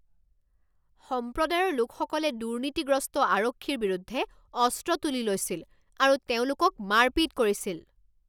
সম্প্ৰদায়ৰ লোকসকলে দুৰ্নীতিগ্ৰস্ত আৰক্ষীৰ বিৰুদ্ধে অস্ত্ৰ তুলি লৈছিল আৰু তেওঁলোকক মাৰপিট কৰিছিল।